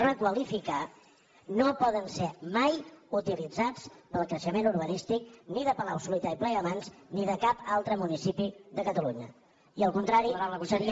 requalificar no poden ser mai utilitzats per al creixement urbanístic ni de palausolità i plegamans ni de cap altre municipi de catalunya i el contrari seria